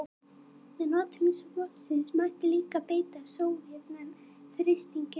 Með notkun vopnsins mætti líka beita Sovétmenn þrýstingi.